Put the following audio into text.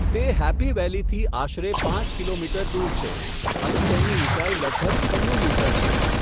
તે હેપ્પી વેલીથી આશરે પાંચ કિલોમીટર દૂર છે અને તેની ઊંચાઈ લગભગ છન્નું મીટર છે.